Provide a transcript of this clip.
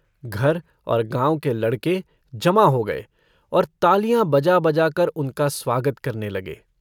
घर और गाँव के लड़के जमा हो गये और तालियाँ बजा-बजाकर उनका स्वागत करने लगे।